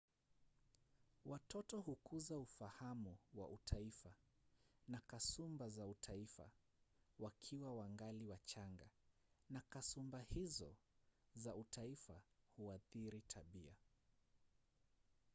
watoto hukuza ufahamu wa utaifa na kasumba za utaifa wakiwa wangali wachanga na kasumba hizo za utaifa huathiri tabia